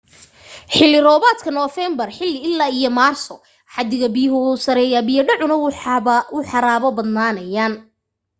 xillli roobaadka noofeembar ilaa maarso xaddiga biyuhu wuu sarraynayaa biya dhacuna wuu xaraabo badnaanayaa